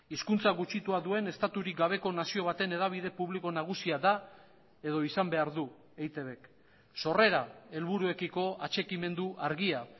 hizkuntza gutxitua duen estaturik gabeko nazio baten hedabide publiko nagusia da edo izan behar du eitbk sorrera helburuekiko atxikimendu argia